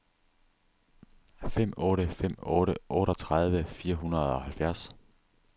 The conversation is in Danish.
fem otte fem otte otteogtredive fire hundrede og halvfjerds